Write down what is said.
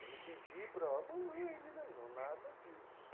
Eu não pedi para, mamãe me dá, não, nada disso.